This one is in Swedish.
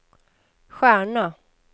stjärna